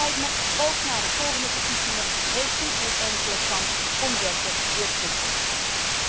Het spijt me, ook na de volgende twee verkiezingen heeft u geen enkele kans om wetten weer terug te draaien.